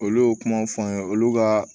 Olu y'o kumaw fɔ an ye olu ka